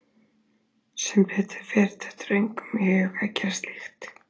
Sem betur fer dettur engum í hug að gera slíkt.